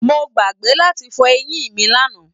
Mo gbàgbé láti fọ eyin mí lana.